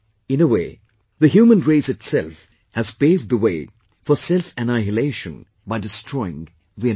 In a way, the human race itself has paved the way for selfannihilation by destroying the environment